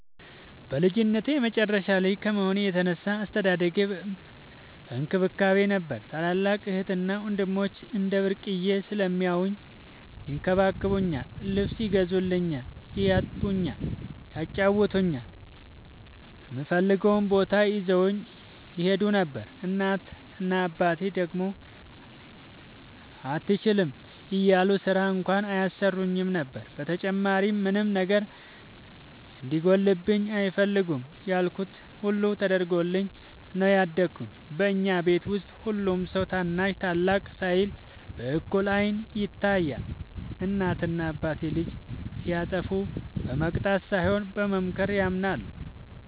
በልጅነቴ የመጨረሻ ልጅ ከመሆኔ የተነሳ አስተዳደጌ በእንክብካቤ ነበር። ታላላቅ እህትና ወንድሞቸ እንደ ብርቅየ ስለሚያውኝ ይንከባከቡኛል ,ልብስ ይገዙልኛል ,ያጥቡኛል ,ያጫውቱኛል, እምፈልገውም ቦታ ይዘውኝ ይሄዱ ነበር። እናት እና አባቴ ደግሞ አትችይም እያሉ ስራ እንኳን አያሰሩኝም ነበር። በተጨማሪም ምንም ነገር እንዲጎልብኝ አይፈልጉም ያልኩት ሁሉ ተደርጎልኝ ነው ያደኩት። በኛ ቤት ውስጥ ሁሉም ሰው ታናሽ ታላቅ ሳይል በእኩል አይን ይታያል። እናት እና አባቴ ልጅ ሲያጠፋ በመቅጣት ሳይሆን በመምከር ያምናሉ።